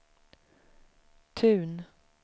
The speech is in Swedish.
Tun